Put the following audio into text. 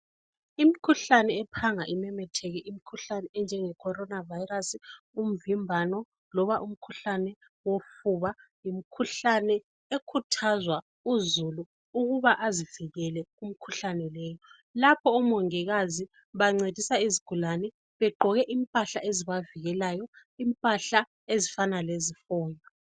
Imkhuhlane ephanga imemetheke, imkhuhlane enjenge Corona virus, umvimbano, loba umkhuhlane wofuba. Yimkhuhlane ekhuthazwa uzulu ukuba azivikele kumkhuhlane leyo. Lapha omongikazi bancedisa izigulane. Begqoke impahla ezibavikelayo, impahla ezifana lezihonqo.